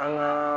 An ŋaa